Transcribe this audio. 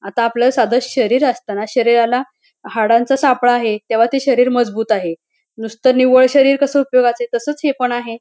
आता आपल साध शरीर असताना शरीराला हाडांचा सापळा आहे तेव्हा ते शरीर मजबूत आहे नुसत निव्वळ शरीर कस उपयोगाच तसच हे पण आहे.